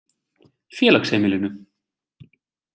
Félagsheimilinu